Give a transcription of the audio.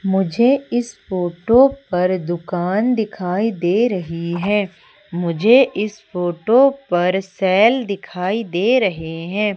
मुझे इस फोटो पर दुकान दिखाई दे रही है मुझे इस फोटो पर सैल दिखाई दे रहे हैं।